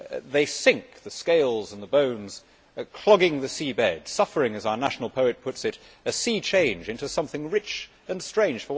They sink the scales and the bones are clogging the sea beds, suffering as the UK's national poet puts it a sea change into something rich and strange.